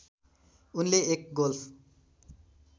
उनले एक गोल्फ